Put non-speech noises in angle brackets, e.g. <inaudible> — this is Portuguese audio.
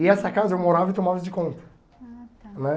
E nessa casa eu morava e tomava de. <unintelligible> Ah tá. Né?